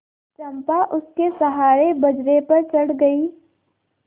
चंपा उसके सहारे बजरे पर चढ़ गई